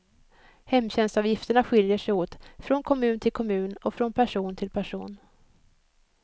Hemtjänstavgifterna skiljer sig åt, från kommun till kommun och från person till person.